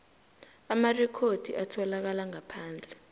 amarekhodi atholakala ngaphandle